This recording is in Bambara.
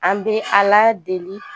An bɛ Ala deli